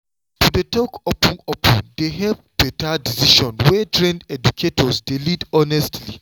to dey talk open-open dey help better decision wey trained educators dey lead honestly.